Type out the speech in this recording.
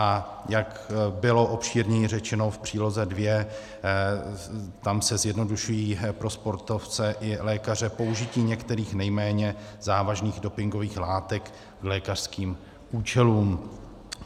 A jak bylo obšírněji řečeno, v Příloze II - tam se zjednodušují pro sportovce i lékaře použití některých nejméně závažných dopingových látek k lékařským účelům.